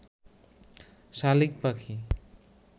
শালিক পাখি